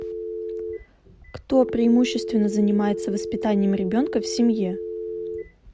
кто преимущественно занимается воспитанием ребенка в семье